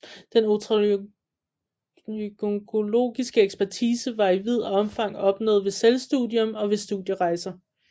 Den otolaryngologiske ekspertise var i vid omfang opnået ved selvstudium og ved studierejser